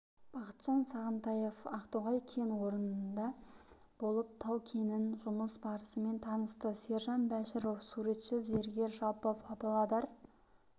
бақытжан сағынтаев ақтоғай кен орнында болып тау-кенінің жұмыс барысымен танысты сержан бәшіров суретші зергер жалпы павлодар